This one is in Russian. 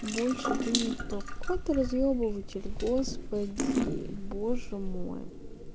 больше ты никто какой ты разъебыватель господи боже мой